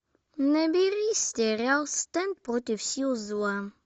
набери сериал стар против сил зла